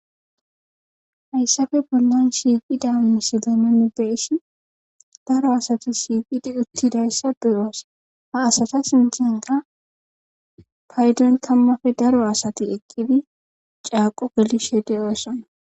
Haysape bolan shiqida missilen be'ishin daro asati shiqidi utidaysa be'os ha asata sinthanka paydon tamape daro asati eqidi c'aqo gelishe de'osona .